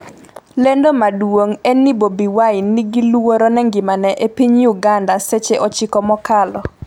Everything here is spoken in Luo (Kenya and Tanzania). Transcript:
lendo maduong' en ni Bobi Wine 'ni gi luoro ne ngimane' e piny Uganda seche 9 mokalo